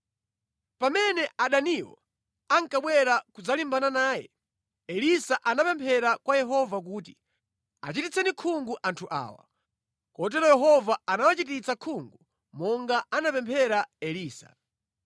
Pamene adaniwo ankabwera kudzalimbana naye, Elisa anapemphera kwa Yehova kuti, “Achititseni khungu anthu awa.” Kotero Yehova anawachititsa khungu monga anapemphera Elisa.